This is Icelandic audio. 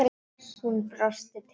Hún brosti til hans.